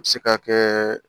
A bɛ se ka kɛ